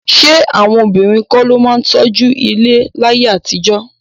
Ṣé àwọn obìnrin kọ́ ló máa ń tọ́jú ilé láyé àtijọ́?